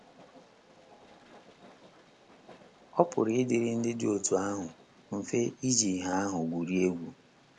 Ọ pụrụ ịdịrị ndị dị otú ahụ mfe iji ìhè ahụ gwurie egwu.